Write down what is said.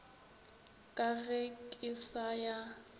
ka ge ke sa ya